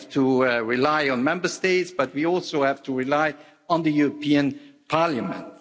we have to rely on Member States, but we also have to rely on the European Parliament.